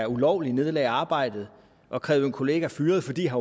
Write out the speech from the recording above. ulovligt nedlægge arbejdet og kræve en kollega fyret fordi han